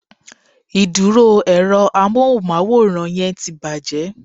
Ìdúró èro amóhùnmáwòrán yẹn ti bàjé